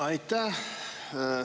Aitäh!